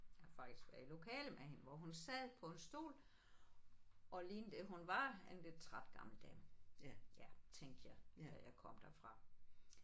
Jeg har faktisk været i lokale med hende hvor hun sad på en stol og lignede at hun var en lidt træt gammel dame ja tænkte jeg da jeg kom derfra